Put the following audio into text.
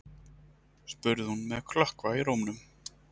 spurði hún með klökkva í rómnum.